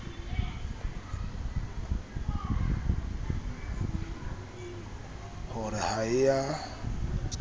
ho re ha e a